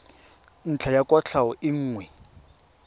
ntlha ya kwatlhao e nngwe